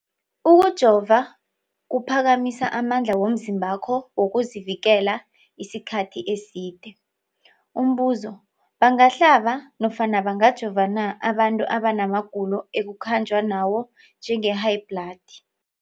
Ukujova kuphakamisa amandla womzimbakho wokuzivikela isikhathi eside. Umbuzo, bangahlaba nofana bangajova na abantu abana magulo ekukhanjwa nawo, njengehayibhladi?